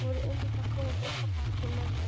Þau voru einmitt að koma frá pabba hans og mömmu.